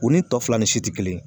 O ni tɔ fila ni si tɛ kelen ye